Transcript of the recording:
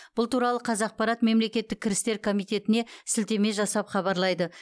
бұл туралы қазақпарат мемлекеттік кірістер комитетіне сілтеме жасап хабарлайды